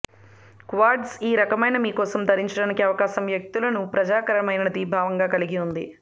quartz ఈ రకమైన మీ కోసం ధరించడానికి అవకాశం వ్యక్తులు న ప్రయోజనకరమైన ప్రభావం కలిగి ఉంది